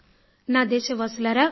నా దేశవాసులారా